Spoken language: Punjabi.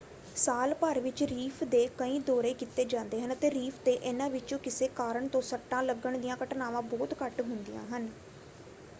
ਸਾਲ ਭਰ ਵਿੱਚ ਰੀਫ ਦੇ ਕਈ ਦੌਰੇ ਕੀਤੇ ਜਾਂਦੇ ਹਨ ਅਤੇ ਰੀਫ ‘ਤੇ ਇਨ੍ਹਾਂ ਵਿੱਚੋਂ ਕਿਸੇ ਕਾਰਨ ਤੋਂ ਸੱਟਾਂ ਲੱਗਣ ਦੀਆਂ ਘਟਨਾਵਾਂ ਬਹੁਤ ਘੱਟ ਹੁੰਦੀਆਂ ਹਨ।